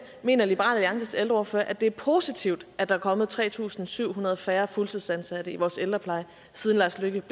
mener liberal alliances ældreordfører at det er positivt at der er kommet tre tusind syv hundrede færre fuldtidsansatte i vores ældrepleje siden lars løkke